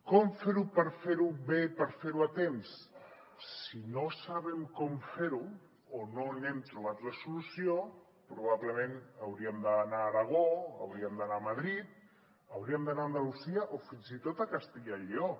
com fer ho per fer ho bé i per fer ho a temps si no sabem com fer ho o no hem trobat la solució probablement hauríem d’anar a aragó hauríem d’anar a madrid hauríem d’anar a andalusia o fins i tot a castella i lleó